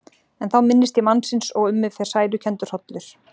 En þá minnist ég mannsins og um mig fer sælukenndur hrollur.